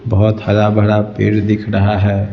बहुत हरा भरा पेड़ दिख रहा है।